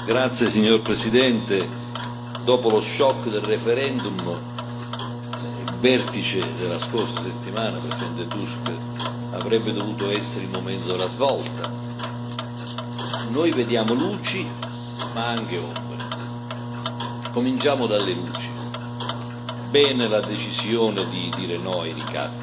Signor Presidente, onorevoli colleghi, dopo lo shock del referendum, il vertice della scorsa settimana, Presidente Tusk, avrebbe dovuto essere il momento della svolta. Noi vediamo luci ma anche ombre. Cominciamo dalle luci. Bene la decisione di dire no ai ricatti,